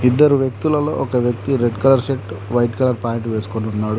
ఇద్దరు వ్యక్తులలో ఒక వ్యక్తి red colour shirt white colour pant వేసుకొనున్నాడు.